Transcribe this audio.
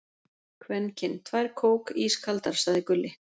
Kvenkyn: Tvær kók, ískaldar, sagði Gulli.